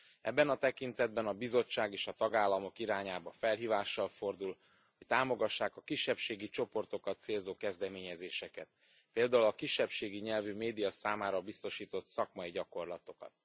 Ebben a tekintetben a Bizottság és a tagállamok irányába felhívással fordul, hogy támogassák a kisebbségi csoportokat célzó kezdeményezéseket, például a kisebbségi nyelvű média számára biztosított szakmai gyakorlatokat.